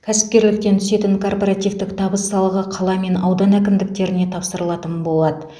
кәсіпкерліктен түсетін корпоративтік табыс салығы қала мен аудан әкімдіктеріне тапсырылатын болады